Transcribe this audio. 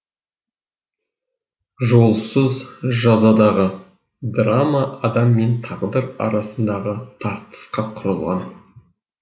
жолсыз жазадағы драма адам мен тағдыр арасындағы тартысқа құрылған